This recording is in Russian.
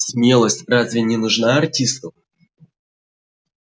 смелость разве не нужна артисту